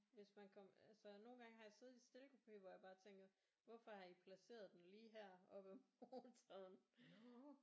Hvis man kommer altså nogle gange har jeg siddet i stillekupeen hvor jeg bare tænker hvorfor har I placeret den lige her op ad motoren